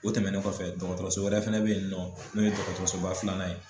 O tɛmɛnen kɔfɛ dɔgɔtɔrɔso wɛrɛ fɛnɛ bɛ yen nin nɔ n'o ye dɔgɔtɔrɔsoba filanan ye